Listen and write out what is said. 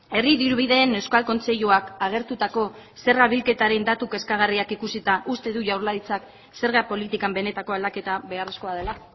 herri dirubideen euskal kontseiluak agertutako zerga bilketaren datuak kezkagarriak ikusita uste du jaurlaritzak zerga politikan benetako aldaketa beharrezkoa dela